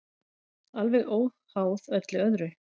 Alveg óháð öllu öðru.